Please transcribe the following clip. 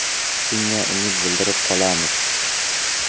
Shunga umid bildirib qolamiz.